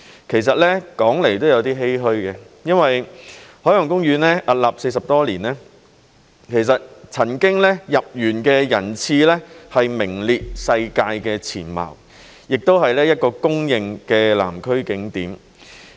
其實說來也有一點欷歔，因為海洋公園屹立40多年，入園人次曾經名列世界前茅，也是一個公認的南區景點。